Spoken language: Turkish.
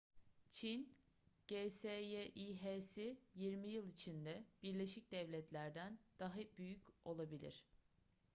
çin'in gsyi̇h'si yirmi yıl içinde birleşik devletler'den daha büyük olabilir